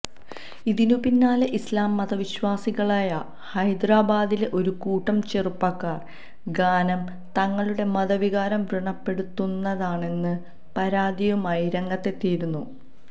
ഇതിനു പിന്നാലെ ഇസ്ലാം മതവിശ്വാസികളായ ഹൈദരാബാദിലെ ഒരു കൂട്ടം ചെറുപ്പക്കാര് ഗാനം തങ്ങളുടെ മതവികാരം വൃണപ്പെടുത്തുന്നതാണെന്ന പരാതിയുമായി രംഗത്തെത്തിയിരുന്നു